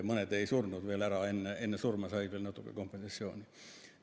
Mõned ei surnud veel ära, said veel enne surma natuke kompensatsiooni.